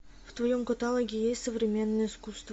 в твоем каталоге есть современное искусство